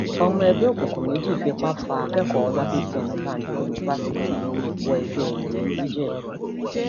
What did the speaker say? ọmọ ẹgbẹ òkùnkùn méjì fipá fa akẹkọọ ọlábiṣí ọnàbànjọ yunifásitì wọ ẹgbẹ ẹyẹ ńìjẹbù